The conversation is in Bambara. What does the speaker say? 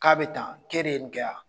K'a be tan ke de ye nin kɛ a?